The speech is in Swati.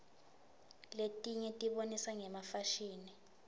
letinye tibonisa ngefashini